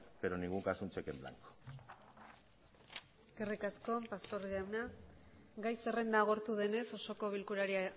pero en ningún caso un cheque en blanco eskerrik asko pastor jauna gai zerrenda agortu denez osoko bilkurari